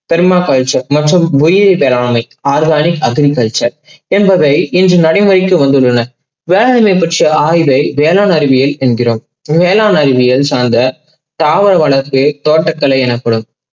பெண்ம மற்றும் உயிரிய வேளாண்மை organic agriculture என்பதை இன்று நடைமுறைக்கு வந்துள்ளன. வேளாண்மையை பற்றிய ஆய்வை வேளாண் அறிவியல் என்கிறோம். வேளாண் அறிவியல் சார்ந்த தாவர வளர்ச்சி தோட்டகலை எனப்படும்.